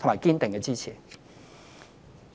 及堅定的支持。